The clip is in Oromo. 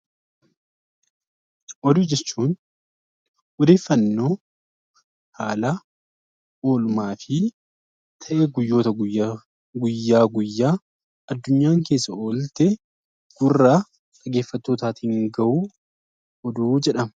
Oduu jechuun odeeffannoo haala oolmaa fi ta'ii guyyoota guyyaa guyyaa guyyaa addunyaan keessa oolte gurra dhaggeeffattootaatiin ga'uun oduu jedhama.